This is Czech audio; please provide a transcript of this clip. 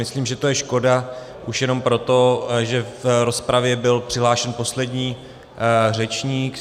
Myslím, že to je škoda už jenom proto, že v rozpravě byl přihlášen poslední řečník.